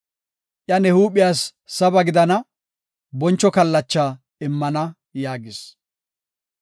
Iya ne huuphiyas saba gidana; boncho kallacha immana” yaagis.